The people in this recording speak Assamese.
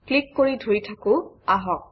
ক্লিক কৰি ধৰি থাকোঁ আহক